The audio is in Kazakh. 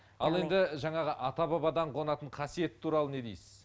ал енді жаңағы ата бабадан қонатын қасиет туралы не дейсіз